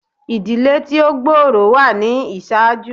Ìdílé tí ó gbòòrò wà ni ìṣáájú.